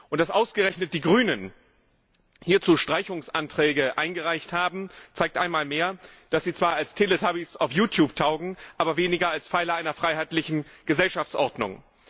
Und dass ausgerechnet die Grünen hierzu Streichungsanträge eingereicht haben, zeigt einmal mehr, dass sie zwar als Teletubbies auf YouTube taugen, aber weniger als Pfeiler einer freiheitlichen Gesellschaftsordnung.